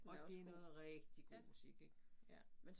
Og det noget rigtig god musik ik ja